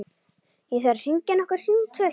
Ég þarf að hringja nokkur símtöl.